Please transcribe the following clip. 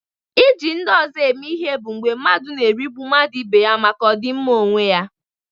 Iji ndị ọzọ eme ihe bụ mgbe mmadụ na-erigbu mmadụ ibe ya maka ọdịmma onwe ya.